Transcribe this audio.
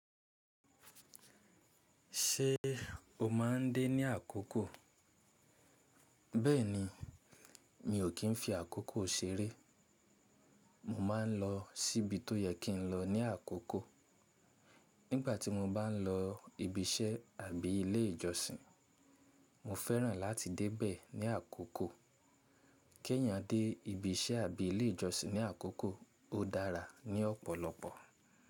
Ṣé o má ń dé ní àkókò? Bẹ́ẹ̀ni, mi ò kí ń fi àkókò ṣeré. Mo ma ń lọ síbi tó yẹ kí ń lọ ní àkókò. Nígbà tí mo bá ń lọ ibi iṣẹ́ àbí ilé ìjọsìn, mo fẹ́ràn láti dé bẹ̀ ní àkókò. Kí èèyàn dé ibi iṣẹ́ àbí ilé ìjọsìn ní àkókò ó dára ní ọ̀pọ̀lọpọ̀.